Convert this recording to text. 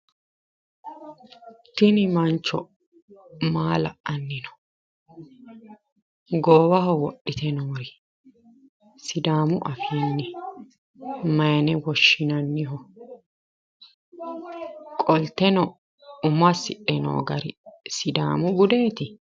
Tini mancho maa la"anninno? Goowaho wodhitinori sidaamu afiinni mayiine woshshinanniho? Qolteno umo assidhe no gati sidaamu budeeti?